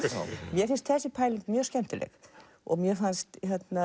mér finnst þessi pæling mjög skemmtileg mér fannst